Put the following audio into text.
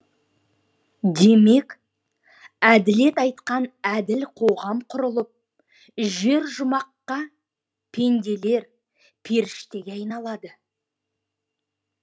демек әділет айтқан әділ қоғам құрылып жер жұмаққа пенделер періштеге айналады